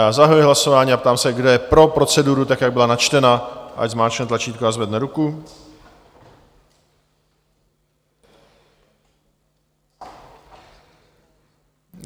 Já zahajuji hlasování a ptám se, kdo je pro proceduru, tak jak byla načtena, ať zmáčkne tlačítko a zvedne ruku.